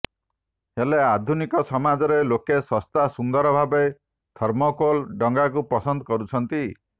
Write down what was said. ହେଲେ ଆଧୁନିକ ସମାଜରେ ଲୋକେ ଶସ୍ତା ସୁନ୍ଦର ଭାବେ ଥର୍ମୋକୋଲ ଡଙ୍ଗାକୁ ପସନ୍ଦ କରୁଛନ୍ତି